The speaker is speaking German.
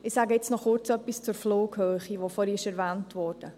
Ich sage noch kurz etwas zur Flughöhe, die vorhin erwähnt wurde.